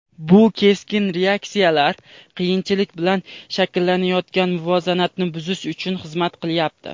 Bu keskin reaksiyalar qiyinchilik bilan shakllanayotgan muvozanatni buzish uchun xizmat qilyapti.